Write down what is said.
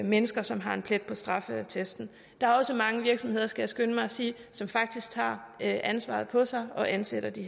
mennesker som har en plet på straffeattesten der er også mange virksomheder skal jeg skynde mig at sige som faktisk tager ansvaret på sig og ansætter de